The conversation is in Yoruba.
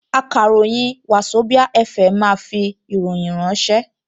Akàròyìn Wazobia FM máa fi ìròyìn ránṣẹ́